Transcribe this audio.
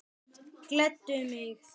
Gleddu mig þá.